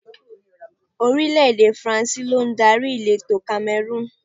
Orílẹ̀ èdè Faransé lọ adarí elétò Kamẹrúùnù.